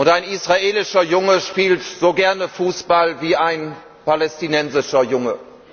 Ein israelischer Junge spielt so gerne Fußball wie ein palästinensischer Junge.